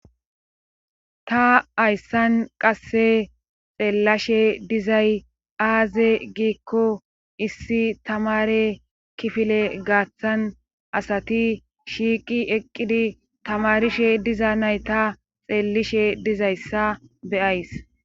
Ta hayssan qasse xeellashe dizay aaze giikko issi tamare kifile gaaththan asati shiiqi eqqidi tamarishe diza nay ta xeellishe dizayssa beyays